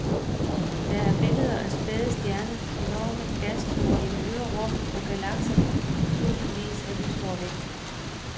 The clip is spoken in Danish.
Der er billeder af spæde stjerner, enorme gaståger i det ydre rum og galakser tusindvis af lysår væk.